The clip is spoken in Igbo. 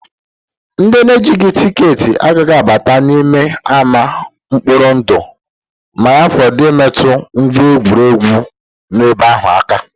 Ndị na-ejighị tikeetị agaghị abata n'ime ama mkpori ndu ma ya fọdụ imetụ ngwa egwuregwu nọ ebe ahụ aka